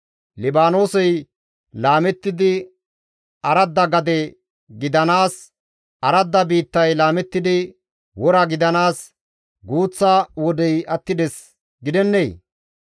Libaanoosey laamettidi aradda gade gidanaas, aradda biittay laamettidi wora gidanaas guuththa wodey attides gidennee?